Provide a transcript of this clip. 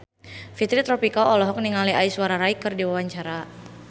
Fitri Tropika olohok ningali Aishwarya Rai keur diwawancara